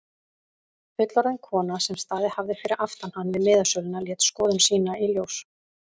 Fullorðin kona sem staðið hafði fyrir aftan hann við miðasöluna lét skoðun sína í ljós.